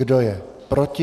Kdo je proti?